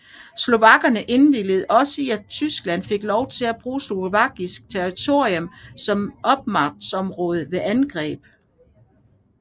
Slovakkerne indvilligede også i at Tyskland fik lov at bruge slovakisk territorium som opmarchområde ved angrebet